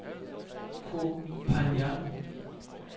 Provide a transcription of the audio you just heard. Koh Phangan